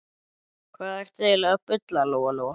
Hvað ertu eiginlega að bulla, Lóa Lóa?